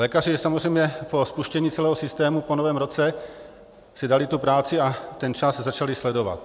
Lékaři samozřejmě po spuštění celého systému po novém roce si dali tu práci a ten čas začali sledovat.